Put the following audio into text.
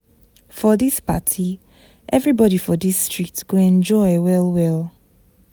For dis party, everybodi for dis street go enjoy well well.